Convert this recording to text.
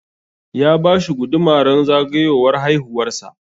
Ya bashi guduma ran zagayowar haihuwar sa